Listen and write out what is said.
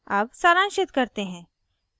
अब सारांशित करते हैं